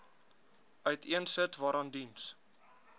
uiteensit waaraan diens